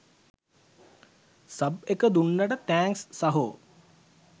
Sub එක දුන්නට thanks සහෝ.